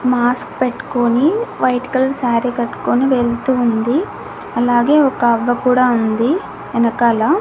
Mask పెట్టుకొని white colour sari కట్టుకొని వెళ్తూ ఉంది అలాగే ఒక అవ్వ కూడా ఉంది ఎనకాల.